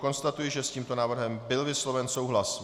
Konstatuji, že s tímto návrhem byl vysloven souhlas.